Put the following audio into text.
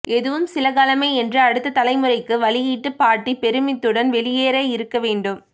எதுவும் சில காலமே என்று அடுத்த தலைமுறை க்கு வழியிட்டு பாட்டி பெறுமித்த்துடன் வெளியேறக் இருக்க வேண்டும்